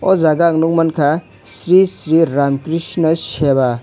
o jaga ang nongmanka sri sri ramkrishna seva.